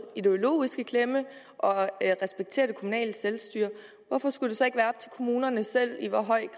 ideologisk i klemme og respekterer det kommunale selvstyre hvorfor skulle det så ikke være op til kommunerne selv i hvor høj